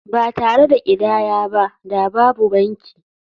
Ba tare da ƙidaya ba da babu banki.